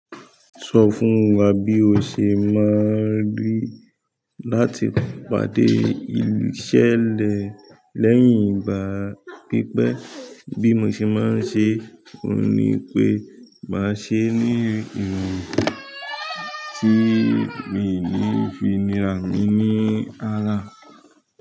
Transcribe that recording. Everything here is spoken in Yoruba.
Sọ fún wa bí o ṣe máa ń rí láti pàdé ìṣẹ̀lẹ̀ lẹ́yìn ìgbà pípẹ́, bí mo ṣe máa ń ṣeé òun ni pé màá ṣeé ní ìrọ̀rùn tí mi ò fi ní àrùn yìí ní ara.